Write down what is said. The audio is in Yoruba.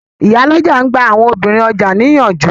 Ìyálọ́jà n gba àwọn obìnrin ọjà ní ìyànjú